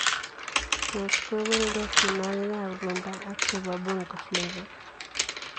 Tos kobelgei tienwokiek ab Rhumba ak chebo Bongo Fleva?